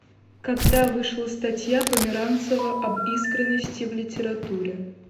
когда вышла статья померанцева об искренности в литературе